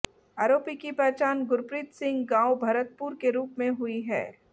आरोपी की पहचान गुरप्रीत सिंह गांव भरतपुर के रूप में हुई है